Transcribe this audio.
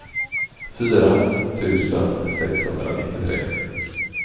fyra tusen sexhundranittiotre